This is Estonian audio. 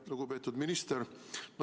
Lugupeetud minister!